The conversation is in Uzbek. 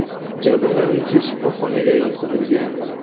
Jabrlanuvchi shifoxonaga yotqizilgan.